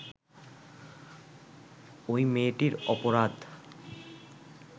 ওই মেয়েটির অপরাধ